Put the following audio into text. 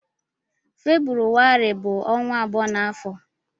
Febrụwarị bu onwa abụọ n'afọ.